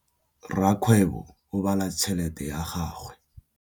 Rakgwêbô o bala tšheletê ya gagwe.